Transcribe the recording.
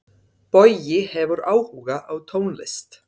Bogi hefur áhuga á tónlist.